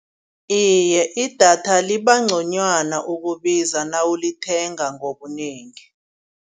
Iye idatha liba ngconywana ukubiza nawulithenga ngobunengi.